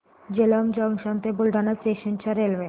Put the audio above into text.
Jalamb junction ते Buldhana station च्या railway